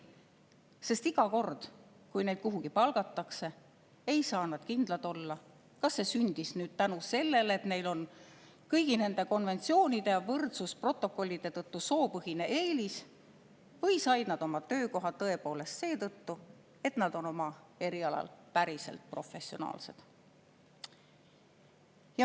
Sest iga kord, kui neid kuhugi palgatakse, ei saa nad kindlad olla, kas see sündis tänu sellele, et neil on kõigi nende konventsioonide ja võrdsusprotokollide tõttu soopõhine eelis, või said nad oma töökoha tõepoolest seetõttu, et nad on oma erialal päriselt professionaalsed.